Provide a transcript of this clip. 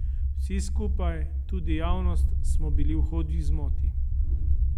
Vsi skupaj, tudi javnost, smo bili v hudi zmoti.